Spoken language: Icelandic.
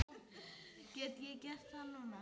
Get ég gert það núna?